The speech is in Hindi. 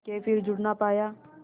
के फिर जुड़ ना पाया